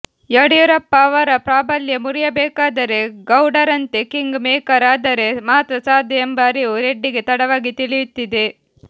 ಯಡಿಯೂರಪ್ಪ ಅವರ ಪ್ರಾಬಲ್ಯ ಮುರಿಯಬೇಕಾದರೆ ಗೌಡರಂತೆ ಕಿಂಗ್ ಮೇಕರ್ ಆದರೆ ಮಾತ್ರ ಸಾಧ್ಯ ಎಂಬ ಅರಿವು ರೆಡ್ಡಿಗೆ ತಡವಾಗಿ ತಿಳಿಯುತ್ತಿದೆ